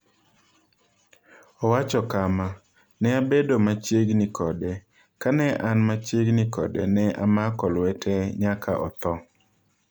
Owacho kama: “Ne abedo machiegni kode, ka ne an machiegni kode ne amako lwete nyaka otho.”